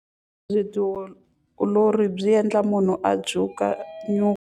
Vutiolori byi endla munhu a dzuka nyuku.